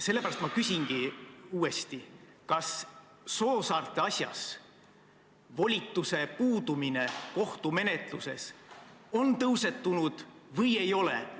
Sellepärast ma küsingi uuesti: kas Soosaarte asjas volituse puudumine kohtumenetluses on teemana tõusetunud või ei ole?